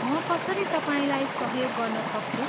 म कसरी तपाईँलाई सहयोग गर्न सक्छु?